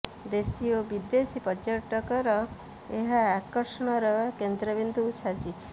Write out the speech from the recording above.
େଦଶୀ ଓ ବିଦେଶୀ ପର୍ଯ୍ୟଟକଙ୍କର ଏହା ଆକର୍ଷଣର େକନ୍ଦ୍ରବିନ୍ଦୁ ସାଜିଛି